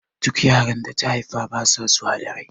Duk yaran da ta haifa basa zuwa da rai